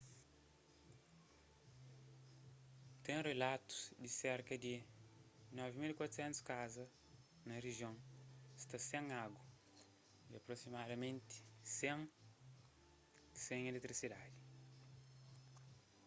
ten relatus di ki serka di 9400 kaza na rijion sta sen agu y aprosimadamenti 100 sen iletrisidadi